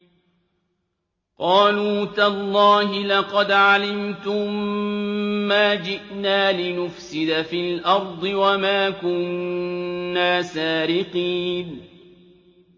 قَالُوا تَاللَّهِ لَقَدْ عَلِمْتُم مَّا جِئْنَا لِنُفْسِدَ فِي الْأَرْضِ وَمَا كُنَّا سَارِقِينَ